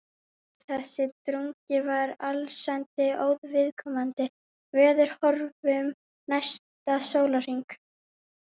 Nei, þessi drungi var allsendis óviðkomandi veðurhorfum næsta sólarhring.